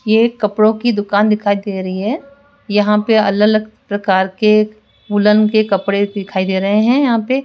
ये एक कपड़ों की दुकान दिखाई दे रही है यहां पर अलग अलग प्रकार के वुलन के कपड़े दिखाई दे रहे हैं यहां पे --